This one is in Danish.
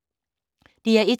DR1